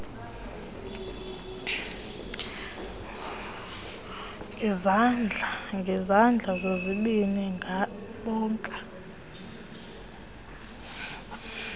ngezandla zozibini beka